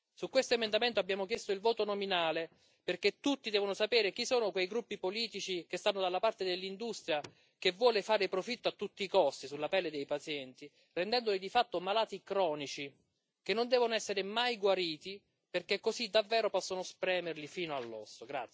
Su questo emendamento abbiamo chiesto il voto nominale perché tutti devono sapere chi sono quei gruppi politici che stanno dalla parte dell'industria che vuole fare profitto a tutti i costi sulla pelle dei pazienti, rendendoli di fatto malati cronici che non devono essere mai guariti, perché così, davvero, possono spremerli fino all'osso.